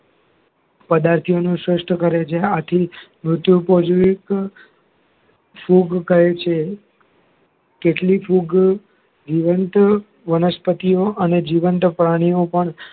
પદાર્થો નું કરે છે આથી ફૂગ કહે છે કેટલીક ફૂગ જીવંત વનસ્પતિઓ અને જીવંત પ્રાણીઓ પણ